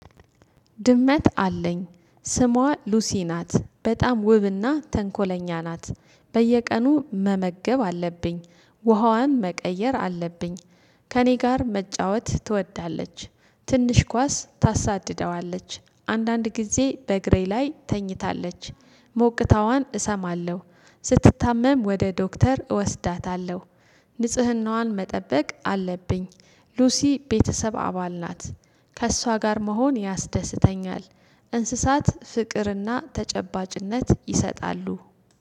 ድመት አለኝ ስሟ ሉሲ ናት። በጣም ውብና ተንኮለኛ ናት። በየቀኑ መመገብ አለብኝ። ውሃዋን መቀየር አለብኝ። ከእኔ ጋር መጫወት ትወዳለች ትንሽ ኳስ ታሳድደዋለች። አንዳንድ ጊዜ በእግሬ ላይ ትተኛለች። ሞቅታዋን እሰማለሁ ስትታመም ወደ ዶክተር እወስዳታለሁ። ንጽህናዋን መጠበቅ አለብኝ ሉሲ ቤተሰብ አባል ናት። ከእሷ ጋር መሆን ያስደስተኛል እንስሳት ፍቅርና ተጨባጭነት ይሰጣሉ።